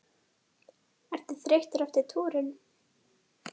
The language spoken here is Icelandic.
Helga: Ertu þreyttur eftir túrinn?